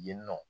Yen nɔ